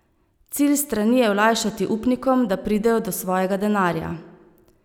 Cilj strani je olajšati upnikom, da pridejo do svojega denarja.